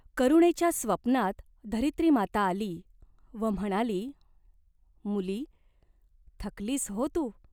करुणेच्या स्वप्नात धरित्रीमाता आली व म्हणाली, "मुली, थकलीस हो तू.